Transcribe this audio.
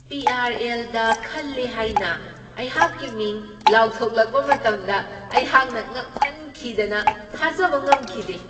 ꯄꯤ.ꯑꯥꯔ.ꯑꯦꯜ.ꯗ ꯈꯜꯂꯦ ꯍꯥꯏꯅ ꯑꯩꯍꯥꯛꯀꯤ ꯃꯤꯡ ꯂꯥꯎꯊꯣꯛꯂꯛꯄ ꯃꯇꯝꯗ ꯑꯩꯍꯥꯛꯅ ꯉꯛꯃꯟꯈꯤꯗꯅ ꯊꯥꯖꯕ ꯉꯝꯈꯤꯗꯦ ꯫